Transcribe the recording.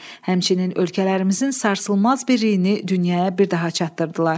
həmçinin ölkələrimizin sarsılmaz birliyini dünyaya bir daha çatdırdılar.